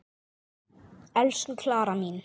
Elsku Klara mín.